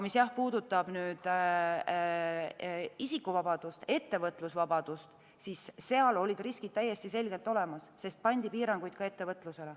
Mis puudutab isikuvabadust, ettevõtlusvabadust, siis seal olid riskid täiesti selgelt olemas, sest pandi piiranguid ettevõtlusele.